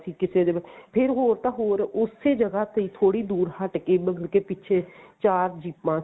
ਕਿਸੇ ਦੇ ਫ਼ੇਰ ਹੋਰ ਤਾਂ ਹੋਰ ਉਸੇ ਜਗ੍ਹਾ ਤੇ ਥੋੜੀ ਦੂਰ ਹਟਕੇ ਮਤਲਬ ਕਿ ਪਿੱਛੇ ਚਾਰ ਜੀਪਾਂ